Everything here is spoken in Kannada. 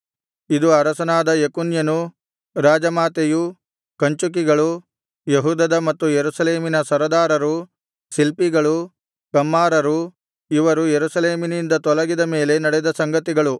ಇದು ಅರಸನಾದ ಯೆಕೊನ್ಯನು ರಾಜಮಾತೆಯು ಕಂಚುಕಿಗಳು ಯೆಹೂದದ ಮತ್ತು ಯೆರೂಸಲೇಮಿನ ಸರದಾರರು ಶಿಲ್ಪಿಗಳು ಕಮ್ಮಾರರು ಇವರು ಯೆರೂಸಲೇಮಿನಿಂದ ತೊಲಗಿದ ಮೇಲೆ ನಡೆದ ಸಂಗತಿಗಳು